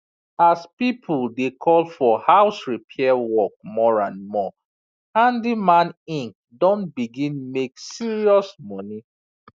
as people dey call for house repair work more and more handyman inc don begin make serious money